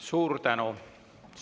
Suur tänu!